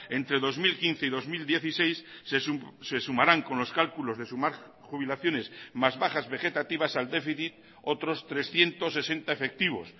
entre dos mil quince y dos mil dieciséis se sumarán con los cálculos de sumar jubilaciones más bajas vegetativas al déficit otros trescientos sesenta efectivos